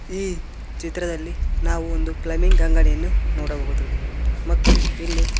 ಈ ಚಿತ್ರದಲ್ಲಿ ನಾವು ಒಂದು ಪ್ಲಮಿಂಗ್ ಅಂಗಡಿಯನ್ನು ನೋಡಬಹುದು ಮತ್ತು ಇಲ್ಲಿ--